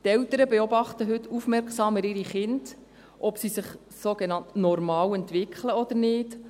Die Eltern beobachten ihre Kinder heute aufmerksamer, dahingehend, ob sie sich sogenannt normal entwickeln oder nicht.